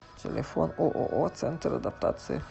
телефон ооо центр адаптации